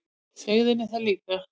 Sagði henni það líka.